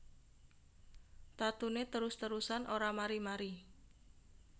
Tatune terus terusan ora mari mari